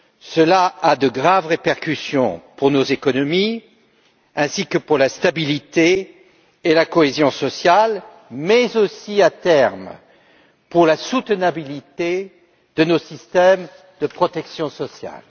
Cela a de graves répercussions pour nos économies ainsi que pour la stabilité et la cohésion sociale mais aussi, à terme, pour la viabilité de nos systèmes de protection sociale.